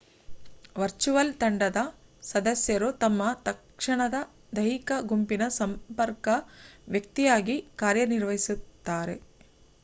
virtual ತಂಡದ ಸದಸ್ಯರು ತಮ್ಮ ತಕ್ಷಣದ ದೈಹಿಕ ಗುಂಪಿನ ಸಂಪರ್ಕ ವ್ಯಕ್ತಿಯಾಗಿ ಕಾರ್ಯನಿರ್ವಹಿಸುತ್ತಾರೆ